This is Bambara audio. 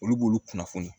Olu b'olu kunnafoni